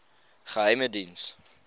geheimediens